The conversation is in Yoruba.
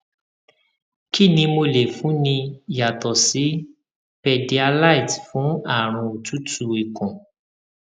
kí ni mo lè fúnni yàtọ sí pédíályte fún àrùn otutu ikun